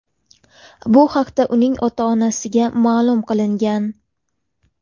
Bu haqda uning ota-onasiga ma’lum qilingan.